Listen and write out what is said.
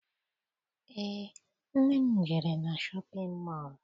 Eé, nne m jere na shọpịn mọọ